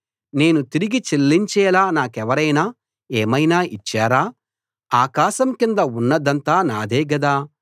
నేను తిరిగి చెల్లించేలా నాకెవరైనా ఏమైనా ఇచ్చారా ఆకాశం కింద ఉన్నదంతా నాదే గదా